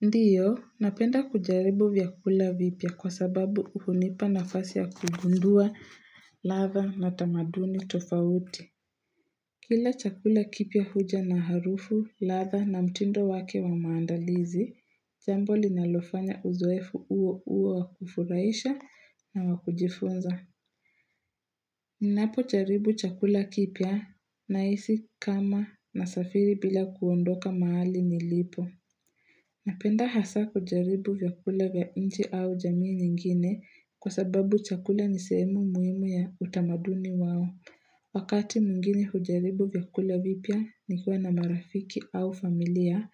Ndio, napenda kujaribu vyakula vipya kwa sababu hunipa nafasi ya kugundua, ladha na tamaduni tofauti. Kila chakula kipya huja na harufu, ladha na mtindo wake wa maandalizi, jambo linalofanya uzoefu huo huo wakufurahisha na wakujifunza. Ninapojaribu chakula kipya nahisi kama na safiri bila kuondoka mahali nilipo. Napenda hasa kujaribu vyakula vya nje au jamii nyingine kwa sababu chakula nisehemu muhimu ya utamaduni wao. Wakati mwingine hujaribu vyakula vipya nikiwa na marafiki au familia,